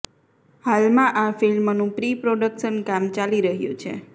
હાલ આ ફિલ્મનું પ્રી પ્રોડકશન કામ ચાલી રહ્યું છે